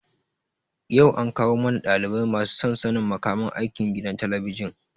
yau an kawo mana ɗalibai masu son sanin makaman aiki gidan talabijin.